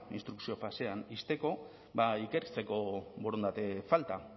instrukzio fasean ixteko ba ikertzeko borondate falta